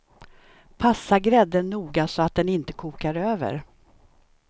Passa grädden noga, så att den inte kokar över.